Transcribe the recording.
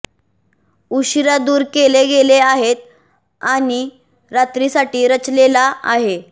उशीरा दूर केले गेले आहेत आणि रात्रीसाठी रचलेला आहे